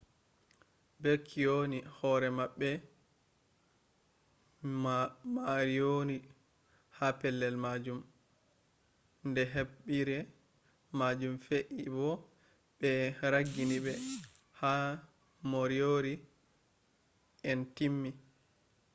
be kyoni hore mabbe moriori ha pelle majum de hebire majum fe'i bo be ragginibe har moriori en timmi